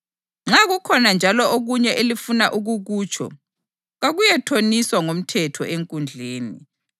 Nxa kukhona njalo okunye elifuna ukukutsho, kakuyethoniswa ngomthetho enkundleni.